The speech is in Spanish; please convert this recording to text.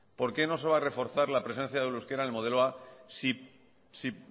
por qué no se va a reforzar la presencia del euskera en el modelo a si